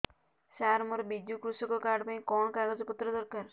ସାର ମୋର ବିଜୁ କୃଷକ କାର୍ଡ ପାଇଁ କଣ କାଗଜ ପତ୍ର ଦରକାର